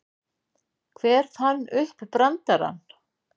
Hver fann upp brandarann?